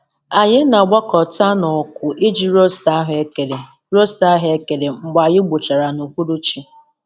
Anyị na-agbakọta n'ọkụ iji rosta ahụekere rosta ahụekere mgbe anyị gbuchara n'uhuruchi.